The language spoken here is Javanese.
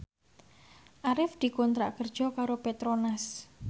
Arif dikontrak kerja karo Petronas